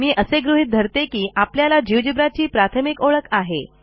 मी असे गृहीत धरतो की आपल्याला Geogebraची प्राथमिक ओळख आहे